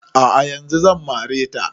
A'a yanzun zan mare ta